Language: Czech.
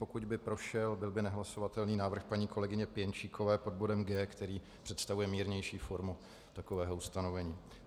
Pokud by prošel, byl by nehlasovatelný návrh paní kolegyně Pěnčíkové pod bodem G, který představuje mírnější formu takového ustanovení.